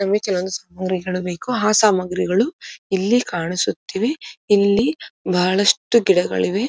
ನಮಗೆ ಕೆಲವು ಸಾಮಗ್ರಿಗಳು ಬೇಕು ಆ ಸಾಮಾಗ್ರಿಗಳು ಇಲ್ಲಿ ಕಾಣಿಸುತ್ತಿವೆ ಇಲ್ಲಿ ಬಹಳಷ್ಟು ಗಿಡಗಳಿವೆ.